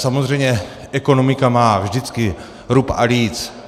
Samozřejmě ekonomika má vždycky rub a líc.